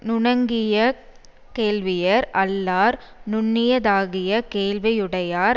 நுணங்கிய கேள்வியர் அல்லார் நுண்ணியதாகிய கேள்வியுடையார்